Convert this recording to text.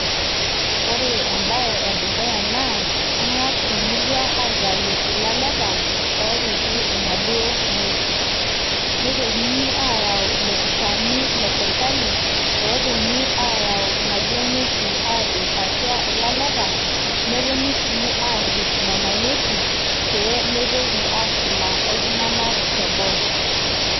Ore embae edukuya naa, eng'as emurua aitayu ilaleta, opiki inaduo ng'uesin. Nitokini ayau ilopisaani le sirkali oponu ayau inaduo ng'uesin, apik atua ilaleta, neponu si arrip nena ng'uesin, pemitoki aashula oltung'anak teboo.